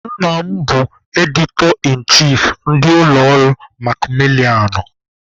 Nna m bụ 'editor in chief' ndị ụlọ ọrụ makmilianụ.